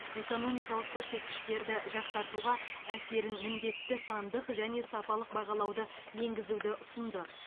экономикалық көрсеткіштерді жақсартуға әсерін міндетті сандық және сапалық бағалауды енгізуді ұсынды